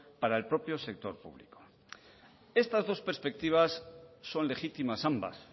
para el propio sector público estas dos perspectivas son legítimas ambas